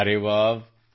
ಅರೆ ವ್ಹಾವ್